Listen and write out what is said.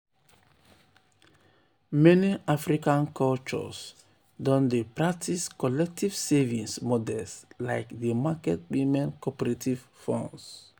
meni african cultures don dey practice collective savings models like di market women cooperative funds.